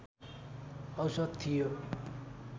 औसत थियो